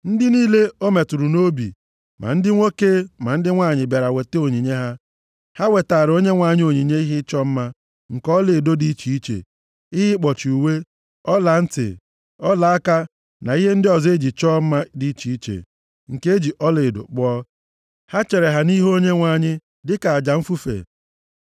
Ndị niile ọ metụrụ nʼobi, ma ndị nwoke ma ndị nwanyị bịara weta onyinye ha. Ha wetaara Onyenwe anyị onyinye ihe ịchọ mma nke ọlaedo dị iche iche: ihe ịkpọchi uwe, ọlantị, ọlaaka na ihe ndị ọzọ e ji achọ mma dị iche iche, nke e ji ọlaedo kpụọ. Ha chere ha nʼihu Onyenwe anyị dịka aja mfufe.